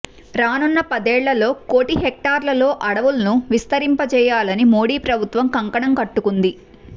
రానున్న పదేళ్లలో కోటి హెక్టార్లలో అడవ్ఞలను విస్తరింపచేయాలని మోడీ ప్రభుత్వం కంకణం కట్టుకుంది